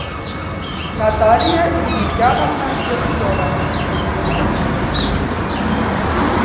наталья емельяновна ершова